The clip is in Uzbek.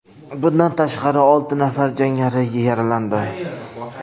Bundan tashqari, olti nafar jangari yaralandi.